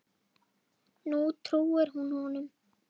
Nú trúir hún honum.